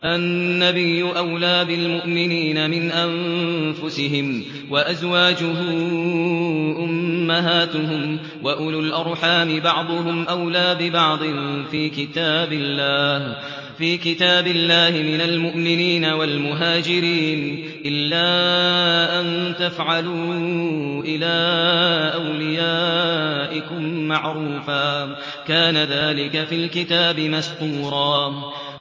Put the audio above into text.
النَّبِيُّ أَوْلَىٰ بِالْمُؤْمِنِينَ مِنْ أَنفُسِهِمْ ۖ وَأَزْوَاجُهُ أُمَّهَاتُهُمْ ۗ وَأُولُو الْأَرْحَامِ بَعْضُهُمْ أَوْلَىٰ بِبَعْضٍ فِي كِتَابِ اللَّهِ مِنَ الْمُؤْمِنِينَ وَالْمُهَاجِرِينَ إِلَّا أَن تَفْعَلُوا إِلَىٰ أَوْلِيَائِكُم مَّعْرُوفًا ۚ كَانَ ذَٰلِكَ فِي الْكِتَابِ مَسْطُورًا